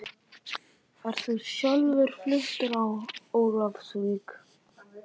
Ert þú sjálfur fluttur á Ólafsvík?